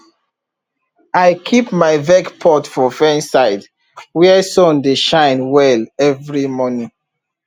i keep my veg pot for fence side where sun dey shine well every morning